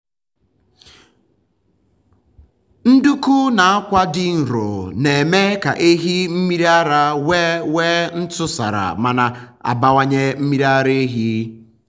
nduku na akwa dị nro na-eme ka ehi mmiri ara nwee nwee ntụsara ma na-abawanye mmiri ara ehi.